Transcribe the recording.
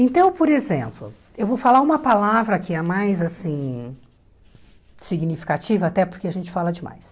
Então, por exemplo, eu vou falar uma palavra que é a mais, assim, significativa, até porque a gente fala demais.